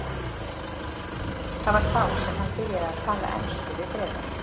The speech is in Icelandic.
Það var þá sem hann byrjaði að tala ensku við Bretana.